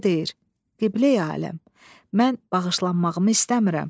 Qarı deyir: "Qibləyə aləm, mən bağışlanmağımı istəmirəm.